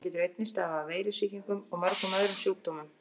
Hann getur einnig stafað af veirusýkingum og mörgum öðrum sjúkdómum.